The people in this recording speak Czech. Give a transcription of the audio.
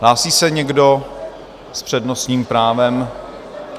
Hlásí se někdo s přednostním právem?